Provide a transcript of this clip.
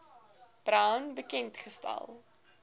brown bekend gestel